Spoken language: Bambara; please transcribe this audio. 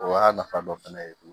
O y'a nafa dɔ fɛnɛ ye